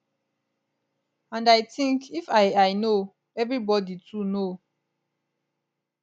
and i think if i i know evribodi too know